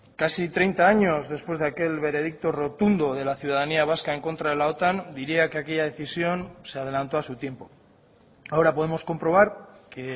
casi treinta años después de aquel veredicto rotundo de la ciudadanía vasca en contra de la otan diría que aquella decisión se adelantó a su tiempo ahora podemos comprobar que